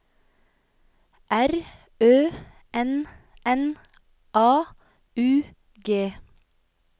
R Ø N N A U G